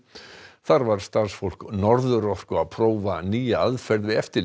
þar var starfsfólk Norðurorku að prófa nýja aðferð við eftirlit